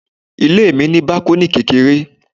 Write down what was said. Ilé mi ní bákọ́nì kékeré